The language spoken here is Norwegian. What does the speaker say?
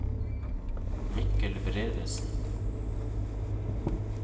Mikkel Bredesen